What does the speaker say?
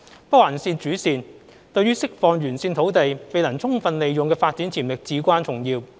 北環線主線對於釋放沿線土地未能充分利用的發展潛力至關重要。